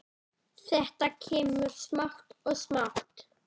Þetta kemur smátt og smátt.